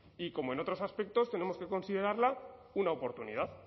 y como en otros aspectos tenemos que considerarla una oportunidad